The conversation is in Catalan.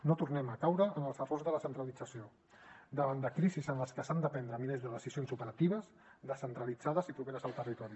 no tornem a caure en els errors de la centralització davant de crisis en les que s’han de prendre milers de decisions operatives descentralitzades i properes al territori